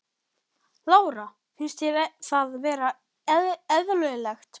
Lára: Finnst þér það vera eðlilegt?